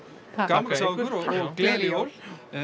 gaman að sjá ykkur og gleðileg jól